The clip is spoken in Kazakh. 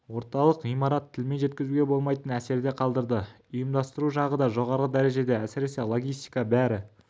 орталық ғимарат тілмен жеткізуге болмайтын әсерде қалдырды ұйымдастыру жағы да жоғары дәрежеде әсіресе логистика бәрі